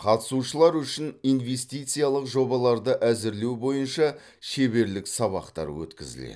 қатысушылар үшін инвестициялық жобаларды әзірлеу бойынша шеберлік сабақтар өткізіледі